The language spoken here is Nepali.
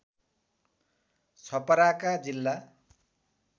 छपराका जिल्ला